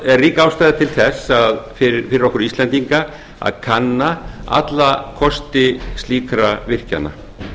er rík ástæða til þess fyrir okkur íslendinga að kanna alla kosti slíkra virkjana